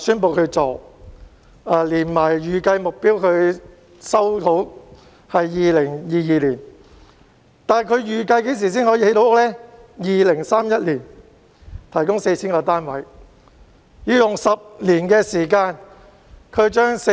房委會預計在2022年收回土地，但房屋預計在2031年才可以落成，提供 4,000 個單位。